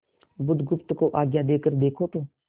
बुधगुप्त को आज्ञा देकर देखो तो